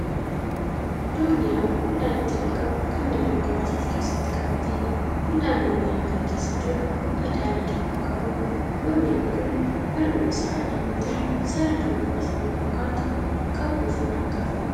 Dooniyaa midhaan itti naqamu Kan midhaan muraasa of keessatti qabateedha. midhaan dooniyaa kana keessa jiru bifa daalachaa Kan qabuudha. Dooniyaan Kuni halluun Isaa adii yoo ta'u sarara bifa samii fakkaatu qabu ofirraa qaba.